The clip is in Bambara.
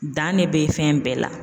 Dan ne bɛ fɛn bɛɛ la.